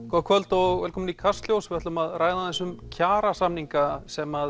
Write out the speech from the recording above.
gott kvöld og velkomin í Kastljós við ætlum að ræða aðeins um kjarasamninga sem